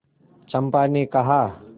चंपा ने कहा